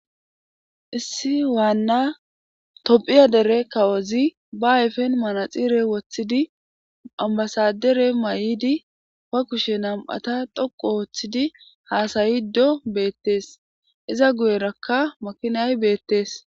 Issi waanna tophiya dere kawozi ba ayfen manaxire woththidi ambasadere may'di ba kushe nam'ata dhoqu ooththidi haasayido beettees iza guyerakka makinay beettees.